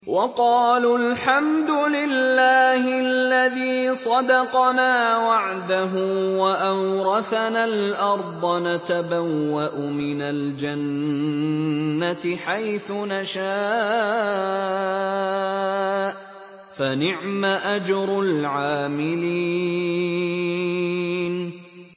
وَقَالُوا الْحَمْدُ لِلَّهِ الَّذِي صَدَقَنَا وَعْدَهُ وَأَوْرَثَنَا الْأَرْضَ نَتَبَوَّأُ مِنَ الْجَنَّةِ حَيْثُ نَشَاءُ ۖ فَنِعْمَ أَجْرُ الْعَامِلِينَ